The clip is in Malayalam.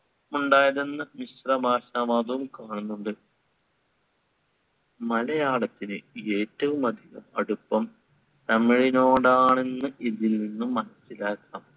ഉണ്ടായതെന്ന മിശ്രഭാഷാവാദവും കാണുന്നുണ്ട്. മലയാളത്തിന് ഏറ്റവുമധികം അടുപ്പം തമിഴിനോടാണെന്ന് ഇതിലിൽനിന്നും മനസ്സിലാക്കാം.